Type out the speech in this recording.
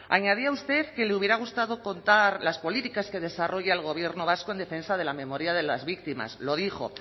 añadía usted que le hubiera gustado contar las políticas que desarrolla el gobierno vasco en defensa de la memoria de las víctimas lo dijo